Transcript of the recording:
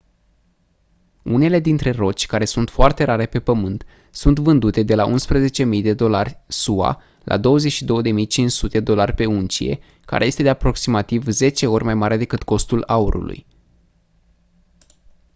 unele dintre roci care sunt foarte rare pe pământ sunt vândute de la 11.000 dolari sua la 22.500 dolari pe uncie care este de aproximativ 10 ori mai mare decât costul aurului